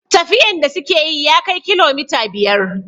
Tafiyan da suka yi ya kai kilomita biyar